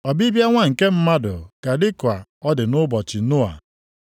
Ọbịbịa Nwa nke Mmadụ ga-adị ka ọ dị nʼụbọchị Noa.